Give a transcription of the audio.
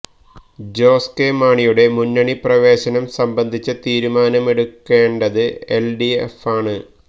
ജോസ് കെ മാണിയുടെ മുന്നണി പ്രവേശനം സംബന്ധിച്ച തീരുമാനമെടുക്കേണ്ടത് എല് ഡി എഫാണ്